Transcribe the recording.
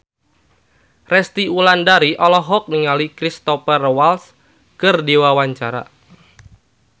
Resty Wulandari olohok ningali Cristhoper Waltz keur diwawancara